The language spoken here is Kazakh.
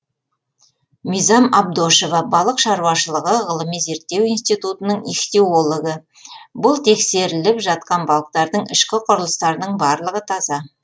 мизам абдошева балық шаруашылығы ғылыми зерттеу институтының ихтиологы бұл тексеріліп жатқан балықтардың ішкі құрылыстарының барлығы таза